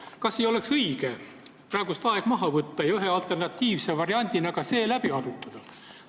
Kas ei oleks õige praegu aeg maha võtta ja ühe alternatiivse variandina ka see läbi arutada?